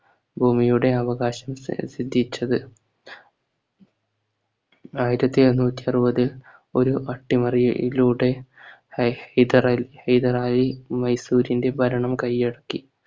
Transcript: ഭൂമിയുടെ അവകാശം സി സിദ്ധിച്ചത് ആയിരത്തി എണ്ണൂറ്റി അറുപതിൽ ഒരു അട്ടിമറിയിലൂടെ ഹൈ ഹിതറലി ഹൈദരലി മൈസൂരിന്റെ ഭരണം കൈയടക്കി